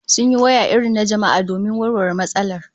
Sun yi waya irin na jama'a da yawa domin warware matsalar